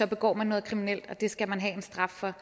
begår man noget kriminelt og det skal man have en straf for